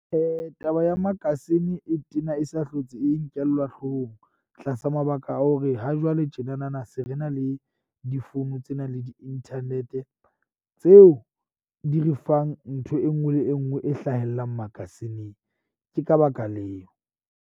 Taba ya magazine e tena e sa hlotse, e nkellwa hlohong tlasa mabaka a hore hajwale tjena na na se re na le difounu tse nang le di-internet-e. Tseo di re fang ntho e nngwe le e nngwe e hlahellang magazine-ng. Ke ka baka leo.